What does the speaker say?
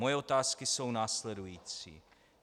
Moje otázky jsou následující.